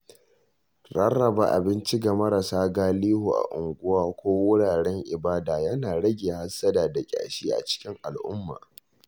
Rarraba abinci ga marasa galihu a unguwa ko wuraren ibada yana rage hassada da ƙyashi a cikin al'umma.